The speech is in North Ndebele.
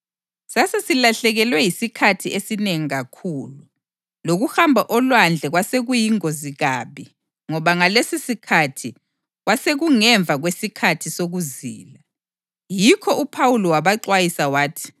Sasesilahlekelwe yisikhathi esinengi kakhulu, lokuhamba olwandle kwasekuyingozi kabi ngoba ngalesisikhathi kwasekungemva kwesikhathi sokuzila. Yikho uPhawuli wabaxwayisa wathi,